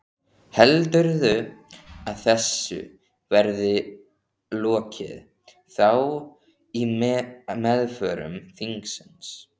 Heldurðu að þessu verði lokið þá í meðförum þingsins?